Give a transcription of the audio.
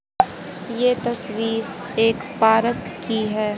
ये तस्वीर एक पारक की है।